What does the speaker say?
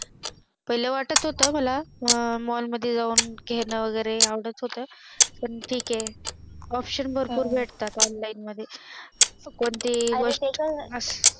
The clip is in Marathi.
पहिले वाटत होत मला Mall मध्ये जावून घेणे वैगेरे आवडत होत पण ठीक आहे Option भरपूर भेटतात Online मध्ये कोणतीही गोष्ट